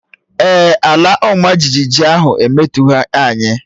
Èè, ala ọma jijiji ahụ emetụtaghị anyị